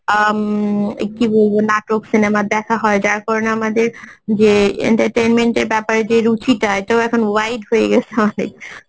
উম কি বলবো, নাটক cinema দেখা হয় যার কারণে আমাদের যে entertainment এর ব্যাপারে যে রুচিটা এটাও এখন wide হয়ে গেছে অনেক